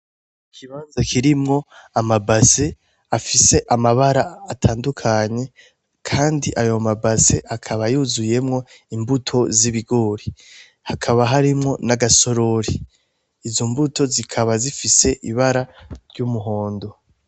Ikibanza kirimwo aba base afise amabara atandukanye Kandi ayo ma base akaba yuzuyemwo imbuto z'ibigori hakaba harimwo n'agasorori, izo mbuto zikaba zifise Ibara ry'umuhondo.